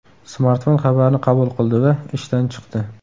Smartfon xabarni qabul qildi va ishdan chiqdi.